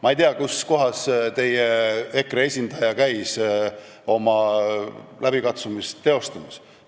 Ma ei tea, kus kohas EKRE esindaja käis oma läbikatsumist teostamas.